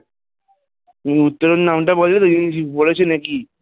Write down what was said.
তুমি উত্তরণ নামটা বললে না ওই জন্য কিছু বলেছে নাকি?